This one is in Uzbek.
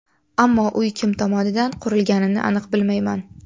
Ammo uy kim tomonidan qurilganini aniq bilmayman.